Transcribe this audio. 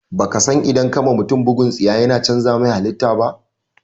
Baka san idan ka wa mutum bugun tsiya yana cànza mai halita ba?